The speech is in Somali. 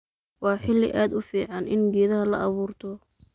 Waa xili aad uuficin ini geedhaha laaburto.